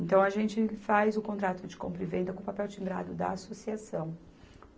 Então, a gente faz o contrato de compra e venda com o papel timbrado da associação.